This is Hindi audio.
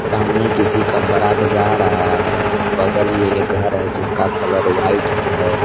सामने किसी का बारात जा रहा है बगल में एक घर है जिसका कलर व्हाइट है।